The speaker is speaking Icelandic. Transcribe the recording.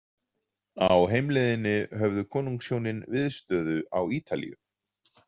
Á heimleiðinni höfðu konungshjónin viðstöðu á Ítalíu.